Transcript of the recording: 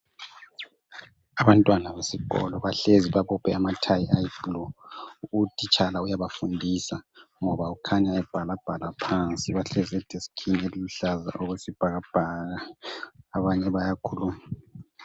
Abantwana besikolo bahlezi babophe amathayi ayi blue. Uthitshala uyabafundisa ,ngoba kukhanya ebhala bhala phansi .Bahlezi edeskini eliluhlaza okwesibhakabhaka, abanye bayakhuluma.